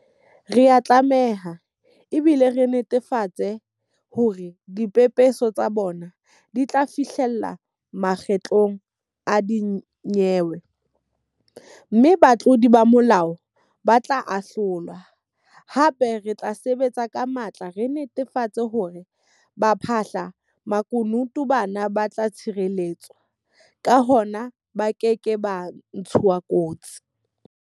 Re a tlameha, ebile re netefatsa hore dipepeso tsa bona di tla fihlella makgotleng a dinyewe, mme batlodi ba molao ba tla ahlolwa, hape re tla sebetsa ka matla re netafatsa hore baphahla-makunutu bana ba tla tshireletswa, ka hona ba keke ba ntshuwa kotsi.